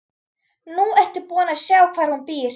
Nú ertu búin að sjá hvar hún býr.